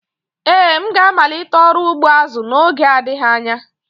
Ee, m ga-amalite ọrụ ugbo azu n'oge adịghị anya